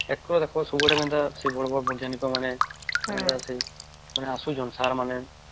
ଏକ ଦେଖ ସବୁ ଆଡେ କେମିତି ସେ ବଡ ବଡ ବୈଜ୍ଞାନିକ ମାନେ ଆମର ସେ ଆସୁଛନ୍ତି Sir ମାନେ